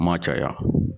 Ma caya